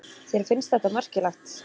Þér finnst þetta merkilegt?